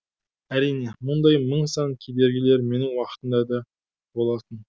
әрине мұндай мың сан кедергілер менің уақытымда да болатын